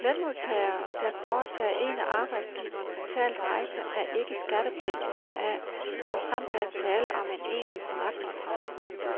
Lønmodtagere, der foretager en af arbejdsgiveren betalt rejse, er ikke skattepligtig heraf, såfremt der er tale om en egentlig forretningsrejse.